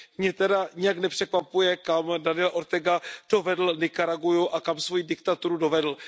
Mě teda nijak nepřekvapuje, kam Daniel Ortega dovedl Nikaraguu a kam svoji diktaturu dovedl.